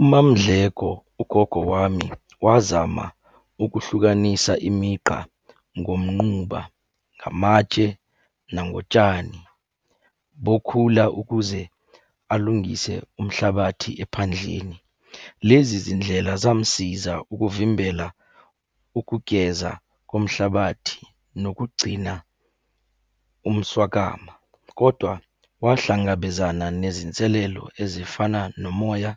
UMaMdleko, ugogo wami, wazama ukuhlukanisa imigqa ngomnquba, ngamatshe, nangotshani bokhula ukuze alungise umhlabathi ephandleni. Lezi zindlela zamsiza ukuvimbela ukugeza komhlabathi, nokugcina umswakama, kodwa wahlangabezana nezinselelo ezifana nomoya